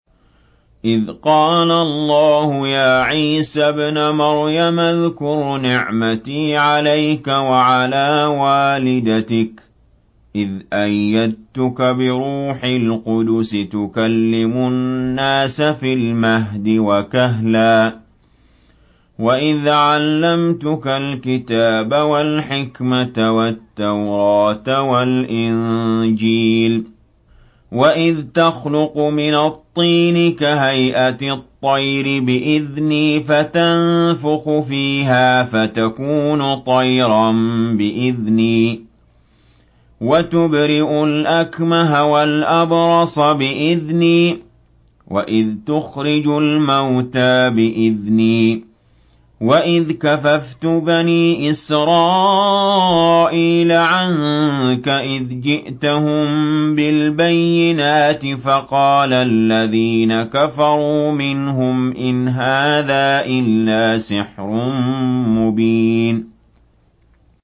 إِذْ قَالَ اللَّهُ يَا عِيسَى ابْنَ مَرْيَمَ اذْكُرْ نِعْمَتِي عَلَيْكَ وَعَلَىٰ وَالِدَتِكَ إِذْ أَيَّدتُّكَ بِرُوحِ الْقُدُسِ تُكَلِّمُ النَّاسَ فِي الْمَهْدِ وَكَهْلًا ۖ وَإِذْ عَلَّمْتُكَ الْكِتَابَ وَالْحِكْمَةَ وَالتَّوْرَاةَ وَالْإِنجِيلَ ۖ وَإِذْ تَخْلُقُ مِنَ الطِّينِ كَهَيْئَةِ الطَّيْرِ بِإِذْنِي فَتَنفُخُ فِيهَا فَتَكُونُ طَيْرًا بِإِذْنِي ۖ وَتُبْرِئُ الْأَكْمَهَ وَالْأَبْرَصَ بِإِذْنِي ۖ وَإِذْ تُخْرِجُ الْمَوْتَىٰ بِإِذْنِي ۖ وَإِذْ كَفَفْتُ بَنِي إِسْرَائِيلَ عَنكَ إِذْ جِئْتَهُم بِالْبَيِّنَاتِ فَقَالَ الَّذِينَ كَفَرُوا مِنْهُمْ إِنْ هَٰذَا إِلَّا سِحْرٌ مُّبِينٌ